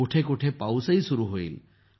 कुठे कुठे पाऊसही सुरू होईल